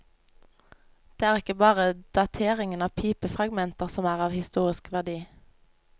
Det er ikke bare dateringen av pipefragmenter som er av historisk verdi.